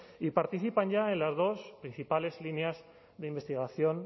y participan ya en las dos principales líneas de investigación